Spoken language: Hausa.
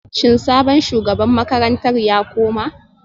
Shin sabon shugaban makarantar ya koma